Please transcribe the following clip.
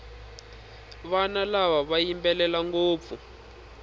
vana lava va yimbelela ngopfu